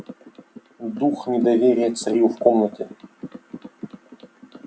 дух недоверия царил в комнате